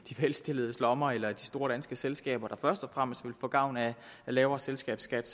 velstilledes lommer eller i de store danske selskaber der først og fremmest vil få gavn af lavere selskabsskat